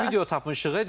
Bir video tapmışıq.